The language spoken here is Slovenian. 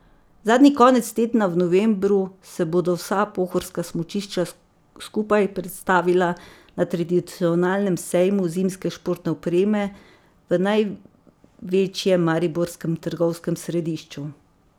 Zadnji konec tedna v novembru se bodo vsa pohorska smučišča skupaj predstavila na tradicionalnem sejmu zimske športne opreme v največjem mariborskem trgovskem središču.